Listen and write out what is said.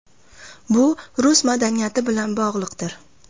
Bu rus madaniyati bilan bog‘liqdir.